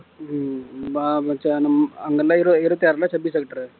ஹம் ஆஹ் நம்~ அங்க இருந்தா இரு~ இருபத்தி ஆறு இல்ல